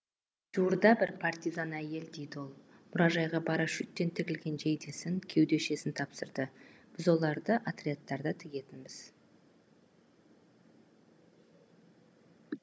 жуырда бір партизан әйел дейді ол мұражайға парашюттен тігілген жейдесін кеудешесін тапсырды біз оларды отрядтарда тігетінбіз